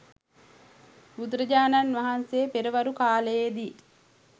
බුදුරජාණන් වහන්සේ පෙරවරු කාලයේ දී